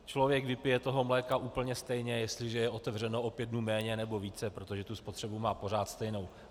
Člověk vypije toho mléka úplně stejně, jestliže je otevřeno o pět dnů méně nebo více, protože tu spotřebu má pořád stejnou.